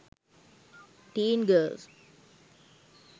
teen girls